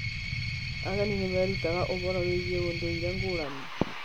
Ageni nĩ merutaga ũhoro wĩgiĩ ũndũire ngũrani.